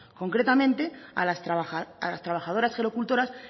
concretamente a las trabajadoras gerocultoras